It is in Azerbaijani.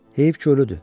Heyif ki, ölüdür.